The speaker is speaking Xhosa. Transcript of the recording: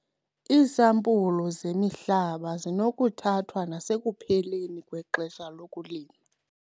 Iisampulu zemihlaba zinokuthathwa nasekupheleni kwexesha lokulima.